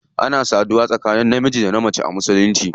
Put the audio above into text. Ana saduwa ne tsakanin namiji da mace kawai a musulunci.